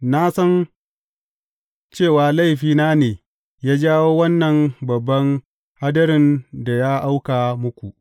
Na san cewa laifina ne ya jawo wannan babban hadirin da ya auka muku.